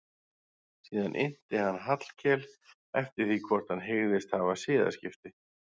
Síðan innti hann Hallkel eftir því hvort hann hygðist hafa siðaskipti.